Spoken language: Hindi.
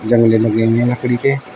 लेने हुए है लकड़ी के।